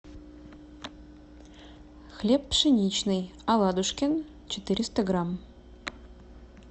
хлеб пшеничный оладушкин четыреста грамм